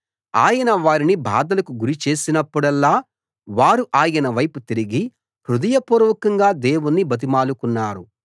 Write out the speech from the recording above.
ఆయన వారిని బాధలకు గురి చేసినప్పుడల్లా వారు ఆయన వైపు తిరిగి హృదయపూర్వకంగా దేవుణ్ణి బతిమాలుకున్నారు